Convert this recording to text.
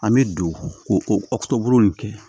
An bɛ don ko o bolo nin kɛ